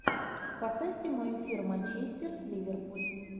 поставь прямой эфир манчестер ливерпуль